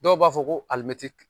Dɔw b'a fɔ ko